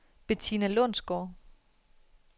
Betina Lundsgaard